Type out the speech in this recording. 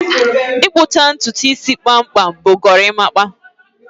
Ịkpụcha ntutu isi kpamkpam bụ gorimapa